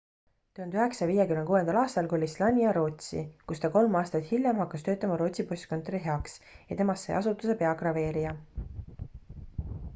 1956 aastal kolis slania rootsi kus ta kolm aastat hiljem hakkas töötama rootsi postkontori heaks ja temas sai asutuse peagraveerija